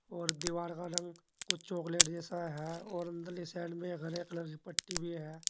और दीवार का रंग कुछ चॉकलेट जैसा है और अंदर ले साइड में एक हरे कलर से पट्टी भी है।